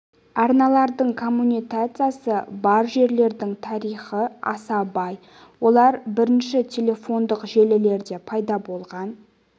арналардың коммутациясы бар желілердің тарихы аса бай олар бірінші телефондық желілерде пайда болған